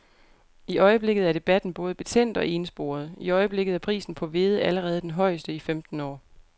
I øjeblikket er debatten både betændt og ensporet.I øjeblikket er prisen på hvede allerede den højeste i femten år.